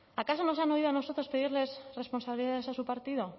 acaso nos han oído a nosotros pedirles responsabilidades a su partido